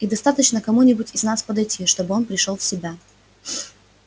и достаточно кому-нибудь из нас подойти чтобы он пришёл в себя